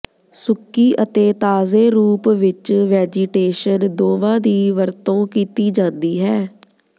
ਸੁੱਕੀ ਅਤੇ ਤਾਜ਼ੇ ਰੂਪ ਵਿਚ ਵੈਜੀਟੇਸ਼ਨ ਦੋਵਾਂ ਦੀ ਵਰਤੋਂ ਕੀਤੀ ਜਾਂਦੀ ਹੈ